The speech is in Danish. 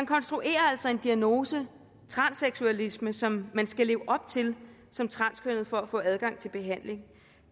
konstrueres altså en diagnose transseksualisme som man skal leve op til som transkønnet for at få adgang til behandling